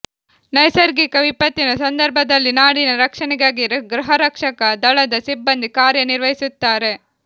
ನೈಸರ್ಗಿಕ ವಿಪತ್ತಿನ ಸಂದರ್ಭದಲ್ಲಿ ನಾಡಿನ ರಕ್ಷಣೆಗಾಗಿ ಗೃಹರಕ್ಷಕ ದಳದ ಸಿಬ್ಬಂದಿ ಕಾರ್ಯ ನಿರ್ವಹಿಸುತ್ತಾರೆ